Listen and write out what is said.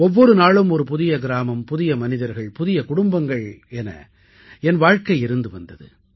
ஒவ்வொரு நாளும் ஒரு புதிய கிராமம் புதிய மனிதர்கள் புதிய குடும்பங்கள் என என் வாழ்க்கை இருந்து வந்தது